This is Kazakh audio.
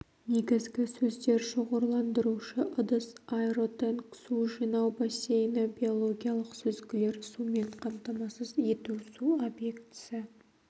негізгі сөздер шоғырландырушы ыдыс аэротенк су жинау бассейні биологиялық сүзгілер сумен қамтамасыз ету су объектісі